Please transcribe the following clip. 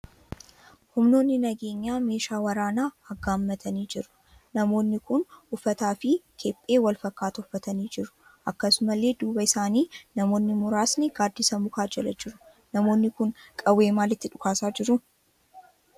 Humnoonni nageenyaa meeshaa waraanaa aggaammatanii jiru. Humnoonni kun uffaataa fi kephee wal fakkaataa uffatanii jiru. Akkasumallee duuba isaanii namoonni muraasni gaaddisa mukaa jala jiru. Namoonni kun qawwee maalitti dhukaasaa jiru?